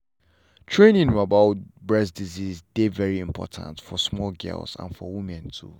training about breast disease dey very important for small girls and for women too.